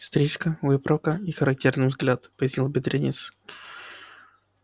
стрижка выправка и характерный взгляд пояснил бедренец